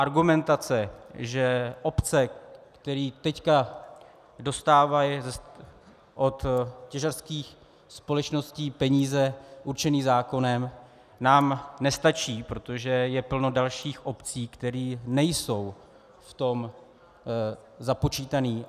Argumentace, že obce, které teď dostávají od těžařských společností peníze určené zákonem, nám nestačí, protože je plno dalších obcí, které nejsou v tom započítané.